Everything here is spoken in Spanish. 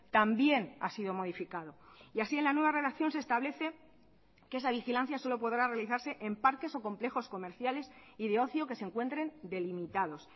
también ha sido modificado y así en la nueva redacción se establece que esa vigilancia solo podrá realizarse en parques o complejos comerciales y de ocio que se encuentren delimitados